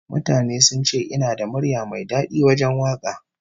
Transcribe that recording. Mutane sun ce ina da murya mai dadi wajen waka